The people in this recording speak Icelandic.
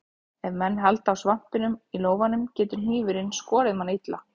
Ef menn halda á svampinum í lófanum getur hnífurinn skorið mann illa.